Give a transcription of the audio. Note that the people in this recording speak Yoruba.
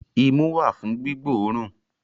Imú wà fún gbígbóòrùn